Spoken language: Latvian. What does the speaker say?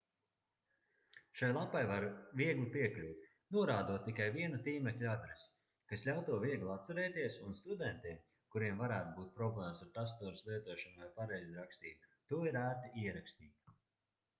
šai lapai var viegli piekļūt norādot tikai vienu tīmekļa adresi kas ļauj to viegli atcerēties un studentiem kuriem varētu būt problēmas ar tastatūras lietošanu vai pareizrakstību to ir ērti ierakstīt